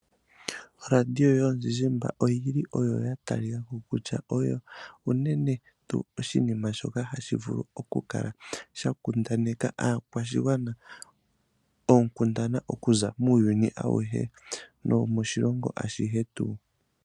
Olaadiyo yomu zizimba oyili oyo ya talikako kutya, oyo unene tuu oshinima shoka hashi vulu oku kala sha kundaneka aakwashigwana ookundana, okuza muuyuni awuhe nomoshilongo ashihe tuu.